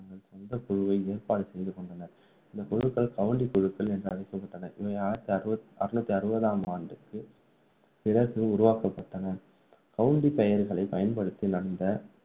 தங்கள் சொந்த குழுவை ஏற்பாடு செய்துகொண்டனர் இந்த குழுக்கள் கவுண்டி குழுக்கள் என்று அழைக்கப்பட்டன இவை ஆயிரத்து அறுநூற்று அறுபதாம் ஆண்டுக்குப் பிறகு உருவாக்கப்பட்டன